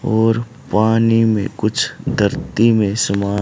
और पानी में कुछ धरती में समा--